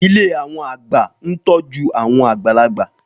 Ilé àwọn àgbà ń tọ́jú àwọn àgbàlagbà